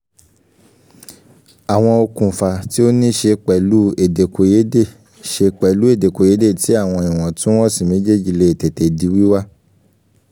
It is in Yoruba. àwọn okùnfà tí ó ní ṣe pẹ̀lú èdèkòyédè ṣe pẹ̀lú èdèkòyédè tí àwọn iwọntún-wọnsì méjèèjì lè tètè di wíwá